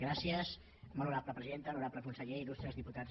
gràcies molt honorable presidenta honorable conseller il·lustres diputats i diputades